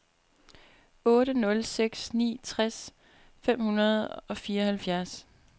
otte nul seks ni tres fem hundrede og fireoghalvfjerds